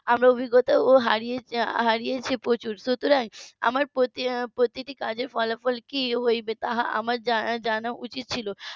আমি অভিজ্ঞতাও হারিয়েছি প্রচুর সুতরাং আমার প্রতি~ প্রতিটি কাজের ফলাফল কী হইবে তাহা আমার জানা উচিত ছিল